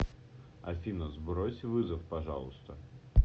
афина сбрось вызов пожалуйста